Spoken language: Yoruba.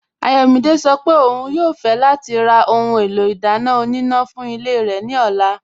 Ayọ̀mídẹ̀ sọ́ pé ọ̀un yóò fẹ̀ lati rà ohun èlò idána ọ̀nínà fún ilẹ̀ rẹ ni ọ̀là.